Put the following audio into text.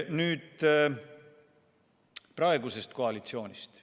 Nüüd praegusest koalitsioonist.